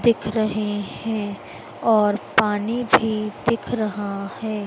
दिख रहे है और पानी भी दिख रहा है।